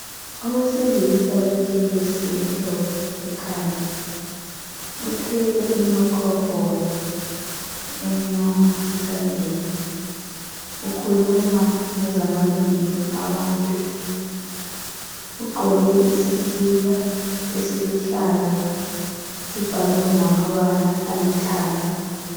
Owesilisa owekepesi emhlophe ekhanda uthwele i microphone emnyama esandleni ukhuluma ngezamalungelo abantu ugqoke isikipa esiluhlaza sibhalwe ngamabala alithanga.